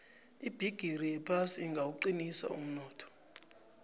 ibhigiri yephasi ingawuqinisa umnotho